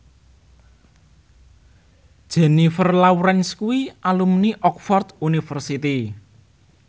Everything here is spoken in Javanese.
Jennifer Lawrence kuwi alumni Oxford university